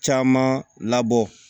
Caman labɔ